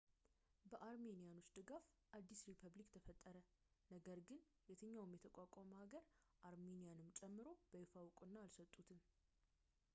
በአርሜኒያኖች ድጋፍ አዲስ ሪፐብሊክ ተፈጠረ ነገር ግን የትኛውም የተቋቋመ ሀገር አርሜንያንም ጨምሮ በይፋ ዕውቅና አልሰጡትም